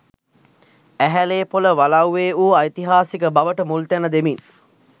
ඇහැළේපොළ වලව්වේ වූ ඓතිහාසික බවට මුල් තැන දෙමින්